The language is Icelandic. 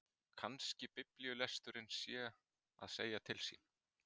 Kannski biblíulesturinn sé að segja til sín.